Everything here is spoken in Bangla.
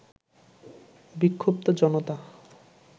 বিক্ষুব্ধ জনতা